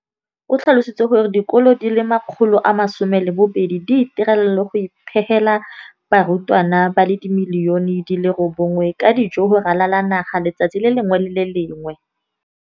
O tlhalositse gore dikolo di le 20 619 di itirela le go iphepela barutwana ba le 9 032 622 ka dijo go ralala naga letsatsi le lengwe le le lengwe.